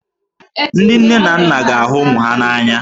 Ndị nne na nna ga-ahụ ụmụ ha n'anya.